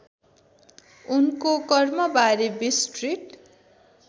उनको कर्मबारे विस्तृत